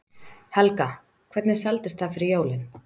Helga: Hvernig seldist það fyrir jólin?